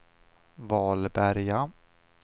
Vallberga